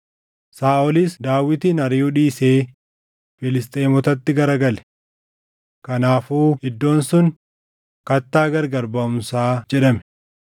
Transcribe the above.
Saaʼolis Daawitin ariʼuu dhiisee Filisxeemotatti gara gale. Kanaafuu iddoon sun, “Kattaa gargar baʼumsaa” jedhame.